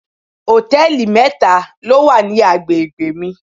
Hòtẹ́lìì mẹ́ta ló wà ní agbègbè mi.